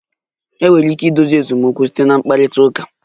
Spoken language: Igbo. Enwere ike idozi esemokwu site na mkparịta ụka